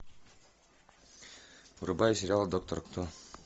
врубай сериал доктор кто